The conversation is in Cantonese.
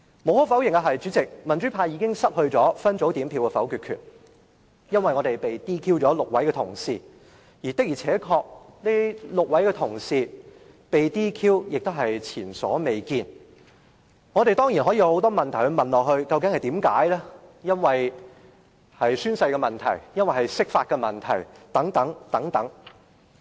無可否認，代理主席，民主派已經失去分組表決否決權，因為民主派有6位同事被 DQ， 而這種情況也是前所未見的，我們當然可以提出很多例如究竟是否由宣誓或釋法引起的問題。